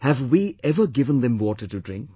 Have we ever given them water to drink